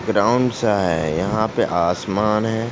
Round सा है। यहाँ पे आसमान है।